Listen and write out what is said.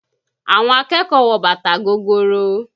Àwọn akẹ́kọ̀ọ́ wọ bàtà gogoro